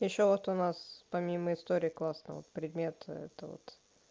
ещё вот у нас помимо истории классный вот предмет это вот